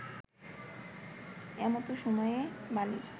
এমতো সময়ে বালীর